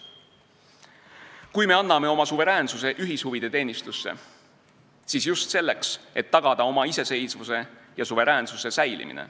Kui me anname oma suveräänsuse ühishuvide teenistusse, siis just selleks, et tagada oma iseseisvuse ja suveräänsuse säilimine.